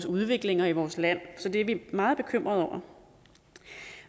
udviklingen i vores land så det er vi meget bekymrede over